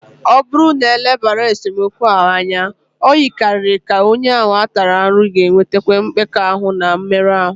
Ọ bụrụ na e lebaraghị esemokwu ahụ anya, o yikarịrị ka onye ahụ a tara ahụhụ ga-enwetakwu mmekpa ahụ na mmerụ ahụ.